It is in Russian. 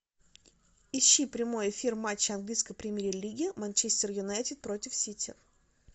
ищи прямой эфир матча английской премьер лиги манчестер юнайтед против сити